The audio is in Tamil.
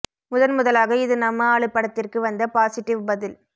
முதன் முதலாக இது நம்ம ஆளு படத்திற்கு வந்த பாசிட்டிவ் பதில்